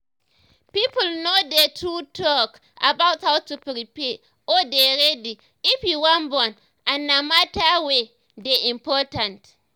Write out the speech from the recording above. people no dey too talk about how to prepare or dey ready if you wan born and na matter wey.dey important